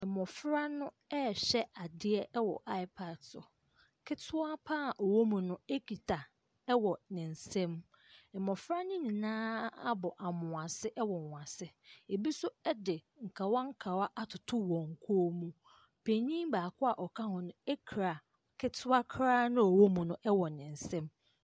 Mmofra no rehwɛ adeɛ wɔ apa so. Ketewa pa ara a ɔwɔ mu no kita wɔ ne nsam. Mmofra no nyinaa abɔ ammoase wɔ wɔn ase. Ebi nso de nkawankawa atoto wɔn kɔn mu. Panin baako a ɔka ho no kura ketewa koraa a ɔwɔ mu no wɔ ne nsam.